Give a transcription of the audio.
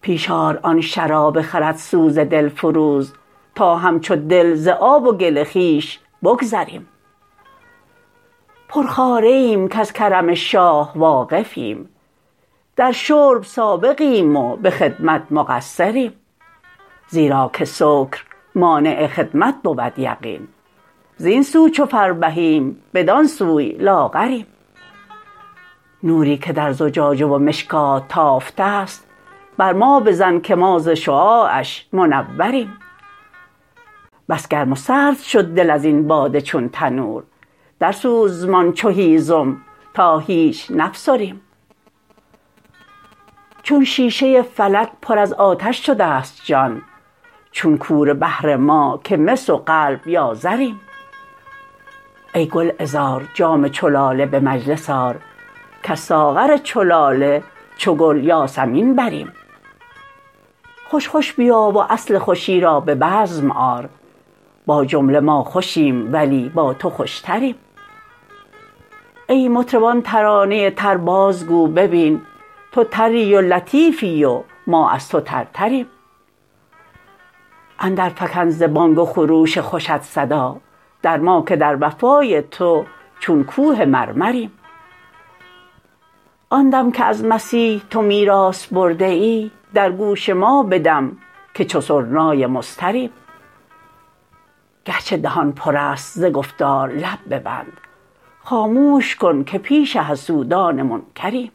پیش آر آن شراب خردسوز دلفروز تا همچو دل ز آب و گل خویش بگذریم پرخواره ایم کز کرم شاه واقفیم در شرب سابقیم و به خدمت مقصریم زیرا که سکر مانع خدمت بود یقین زین سو چو فربهیم بدان سوی لاغریم نوری که در زجاجه و مشکات تافته ست بر ما بزن که ما ز شعاعش منوریم بس گرم و سرد شد دل از این باده چون تنور درسوزمان چو هیزم تا هیچ نفسریم چون شیشه فلک پر از آتش شده ست جان چون کوره بهر ما که مس و قلب یا زریم ای گلعذار جام چو لاله به مجلس آر کز ساغر چو لاله چو گل یاسمین بریم خوش خوش بیا و اصل خوشی را به بزم آر با جمله ما خوشیم ولی با تو خوشتریم ای مطرب آن ترانه تر بازگو ببین تو تری و لطیفی و ما از تو ترتریم اندرفکن ز بانگ و خروش خوشت صدا در ما که در وفای تو چون کوه مرمریم آن دم که از مسیح تو میراث برده ای در گوش ما بدم که چو سرنای مضطریم گرچه دهان پر است ز گفتار لب ببند خاموش کن که پیش حسودان منکریم